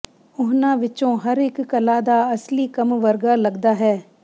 ਉਹਨਾਂ ਵਿਚੋਂ ਹਰ ਇੱਕ ਕਲਾ ਦਾ ਅਸਲੀ ਕੰਮ ਵਰਗਾ ਲੱਗਦਾ ਹੈ